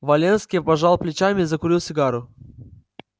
валенский пожал плечами и закурил сигару